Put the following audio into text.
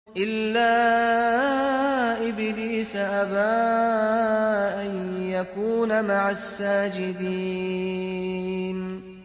إِلَّا إِبْلِيسَ أَبَىٰ أَن يَكُونَ مَعَ السَّاجِدِينَ